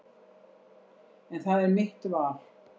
En það er mitt val.